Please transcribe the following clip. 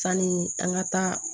Sanni an ka taa